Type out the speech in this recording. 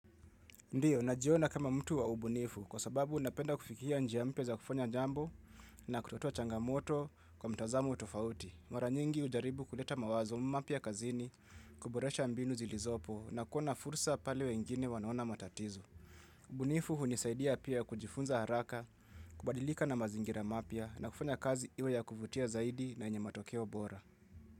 Ndiyo, najiona kama mtu wa ubunifu kwa sababu napenda kufikia njia mpya za kufanya jambo na kutotoa changamoto kwa mtazamo tofauti. Mara nyingi ujaribu kuleta mawazo mpya kazini, kuboresha mbinu zilizopo na kuona fursa pale wengine wanaona matatizo. Ubunifu unisaidia pia kujifunza haraka, kubadilika na mazingira mapya na kufanya kazi iwe ya kuvutia zaidi na yenye matokeo bora.